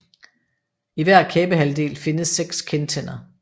I hver kæbehalvdel findes seks kindtænder